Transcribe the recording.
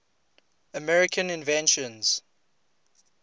american inventions